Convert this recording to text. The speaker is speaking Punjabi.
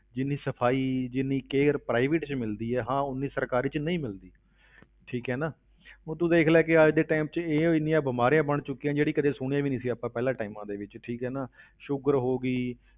ਜਿੰਨੀ ਸਫ਼ਾਈ, ਜਿੰਨੀ care private ਵਿੱਚ ਮਿਲਦੀ ਹੈ, ਹਾਂ ਉਨੀ ਸਰਕਾਰੀ ਵਿੱਚ ਨਹੀਂ ਮਿਲਦੀ ਠੀਕ ਹੈ ਨਾ ਹੁਣ ਤੂੰ ਦੇਖ ਲੈ ਕਿ ਅੱਜ ਦੇ time ਵਿੱਚ ਇਹ ਇੰਨੀਆਂ ਬਿਮਾਰੀਆਂ ਬਣ ਚੁੱਕੀਆਂ, ਜਿਹੜੀ ਕਦੇ ਸੁਣੀਆਂ ਵੀ ਨੀ ਸੀ ਆਪਾਂ ਪਹਿਲਾਂ times ਦੇ ਵਿੱਚ ਠੀਕ ਹੈ ਨਾ sugar ਹੋ ਗਈ,